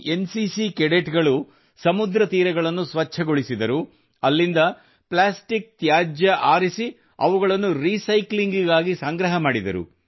N ಸಿಸಿಯ ಈ cadet ಗಳು ಸಮುದ್ರ ತೀರಗಳನ್ನು ಸ್ವಚ್ಛಗೊಳಿಸಿದರು ಅಲ್ಲಿಂದ ಪ್ಲಾಸ್ಟಿಕ್ ತ್ಯಾಜ್ಯ ಆರಿಸಿ ಅವುಗಳನ್ನು ರಿಸೈಕ್ಲಿಂಗ್ ಗಾಗಿ ಸಂಗ್ರಹ ಮಾಡಿದರು